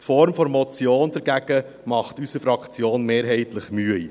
Die Form einer Motion macht unserer Fraktion hingegen mehrheitlich Mühe.